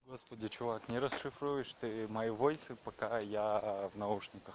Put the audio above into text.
господи чувак не расшифруешь ты мои войсы пока я в наушниках